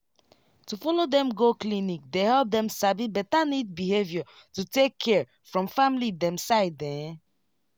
to follow dem go clinic dey help dem sabi better neat behavior to take care from family dem side ehn